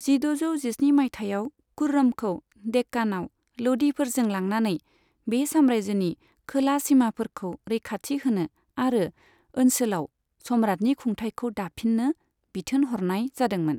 जिद'जौ जिस्नि माइथायाव, खुर्रमखौ डेक्कानाव ल'धिफोरजों लांनानै बे साम्रायजोनि खोला सिमाफोरखौ रैखाथि होनो आरो ओनसोलाव सम्रातनि खुंथायखौ दाफिन्नो बिथोन हरनाय जादोंमोन।